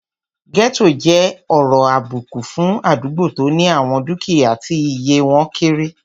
Gẹ́ẹ́tò jẹ́ ọ̀rọ̀ àbùkù fún àdúgbò tó ní àwọn dúkìyá tí iye wọ́n kéré